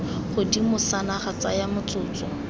godimo sa naga tsaya motsotso